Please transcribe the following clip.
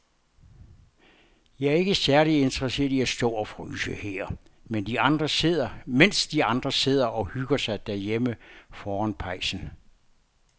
Jeg er ikke særlig interesseret i at stå og fryse her, mens de andre sidder og hygger sig derhjemme foran pejsen.